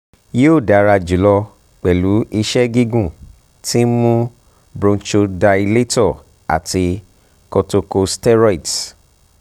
o yoo dara julọ pẹlu iṣẹ gigun ti nmu bronchodilator ati corticosteroids